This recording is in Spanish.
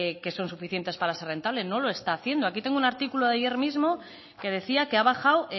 que son suficientes para ser rentables no lo está haciendo aquí tengo un artículo de ayer mismo que decía que ha bajado